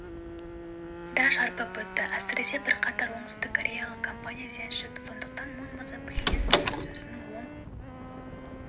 да шарпып өтті әсіресе бірқатар оңтүстіккореялық компания зиян шекті сондықтан мун мырза пхеньян келіссөзінің оң